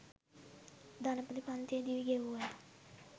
ධනපති පන්තියේ දිවි ගෙවූ ඇය